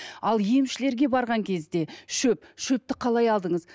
ал емшілерге барған кезде шөп шөпті қалай алдыңыз